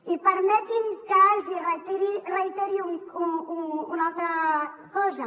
i permeti’m que els hi reiteri una altra cosa